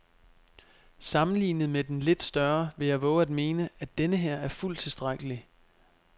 Sammenlignet med den lidt større vil jeg vove at mene, at denneher er fuldt tilstrækkelig.